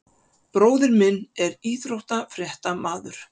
Bróðir minn er íþróttafréttamaður.